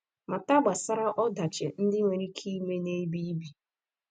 Mata gbasara ọdachi ndị nwere ike ime n’ebe ibi.